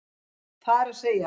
Það er að segja